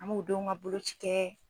An m'o denw ka boloci kɛ.